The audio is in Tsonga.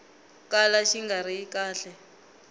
kala xi nga ri kahle